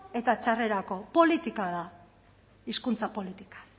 eta txarrerako politika da hizkuntza politika